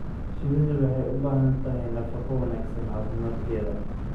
Shinnidu waxay u baahan tahay nafaqo wanaagsan caafimaadkeeda.